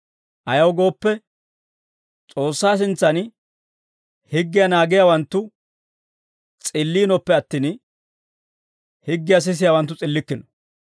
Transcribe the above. Ayaw gooppe, S'oossaa sintsan higgiyaa naagiyaawanttu s'illiinoppe attin, higgiyaa sisiyaawanttu s'illikkino.